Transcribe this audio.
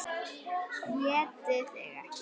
ÉTI ÞIG EKKI!